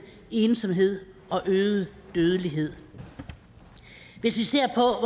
ensomhed og øget dødelighed hvis vi ser på